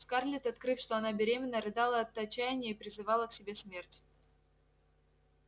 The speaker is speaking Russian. скарлетт открыв что она беременна рыдала от отчаяния и призывала к себе смерть